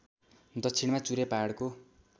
दक्षिणामा चुरे पहाडको